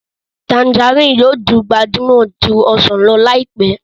Tanjarínnì yóò di gbajúmọ̀ ju ọsàn lọ láìpẹ́